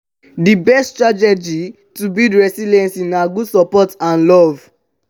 di best strategy to build resilience na good support and love.